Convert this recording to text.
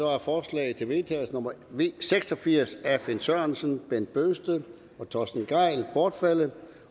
er forslag til vedtagelse nummer v seks og firs af finn sørensen bent bøgsted og torsten gejl bortfaldet